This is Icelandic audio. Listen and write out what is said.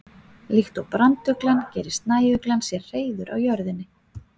Líkt og branduglan gerir snæuglan sér hreiður á jörðinni.